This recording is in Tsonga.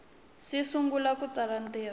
si sungula ku tsala ntirho